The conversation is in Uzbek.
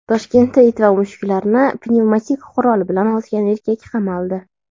Toshkentda it va mushuklarni pnevmatik qurol bilan otgan erkak qamaldi.